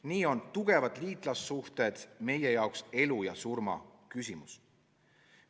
Nii on tugevad liitlassuhted meie jaoks elu ja surma küsimus.